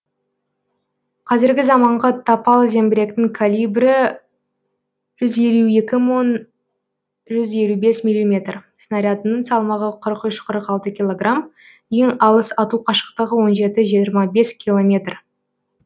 қазіргі заманғы тапал зеңбіректің калибрі жүз елу екі мың жүз елу бес миллиметр снарядының салмағы қырық үш қырық алты килограмм ең алыс ату қашықтығы он жеті жиырма бес километр